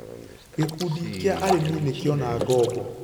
Gĩkundi kĩa arĩmi nĩkiona ngombo.